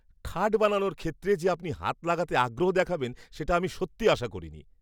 খাট বানানোর ক্ষেত্রে যে আপনি হাত লাগাতে আগ্রহ দেখাবেন সেটা আমি সত্যি আশা করিনি।